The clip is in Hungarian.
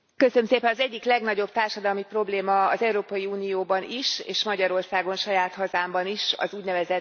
Elnök Asszony, az egyik legnagyobb társadalmi probléma az Európai Unióban is, és Magyarországon, saját hazámban is, az ún.